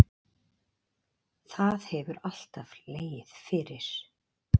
Það hefur alltaf legið fyrir